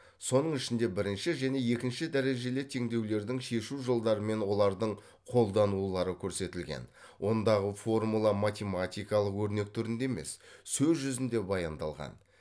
соның ішінде бірінші және екінші дәрежелі теңдеулердің шешу жолдарымен олардың қолданулары көрсетілген ондағы формула математикалық өрнек түрінде емес сөз жүзінде баяндалған